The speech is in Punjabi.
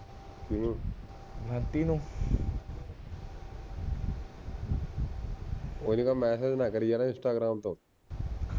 ਸੁਨੇਹਾ ਮਾਤ ਕਰਨਾ ਯਾਰ ਇੰਸਟਾਗ੍ਰਾਮ ਮੈਨੂੰ